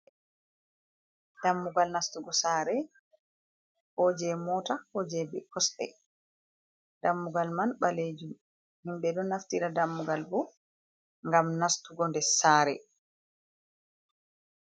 Dammugal nastugo saare ko jei mota, ko jei kosɗe. Dammugal man ɓalejum, himɓe ɗo naftira dammugal bo ngam nastugo nder saare.